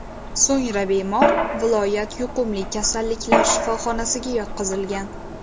So‘ngra bemor viloyat yuqumli kasalliklar shifoxonasiga yotqizilgan.